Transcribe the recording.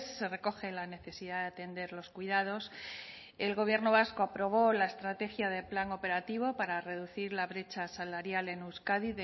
se recoge la necesidad de atender los cuidados el gobierno vasco aprobó la estrategia del plan operativo para reducir la brecha salarial en euskadi